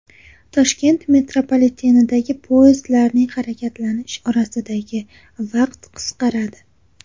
Toshkent metropolitenidagi poyezdlarning harakatlanish orasidagi vaqt qisqaradi.